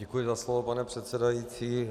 Děkuji za slovo, pane předsedající.